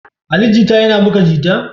Ali Jita yana buga jita?